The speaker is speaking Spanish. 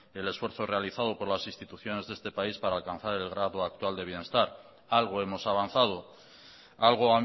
el esfuerzo realizado por las instituciones de este país para alcanzar el grado actual de bienestar algo hemos avanzado algo